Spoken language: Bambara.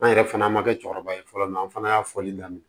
An yɛrɛ fana ma kɛ cɛkɔrɔba ye fɔlɔ an fana y'a fɔli daminɛ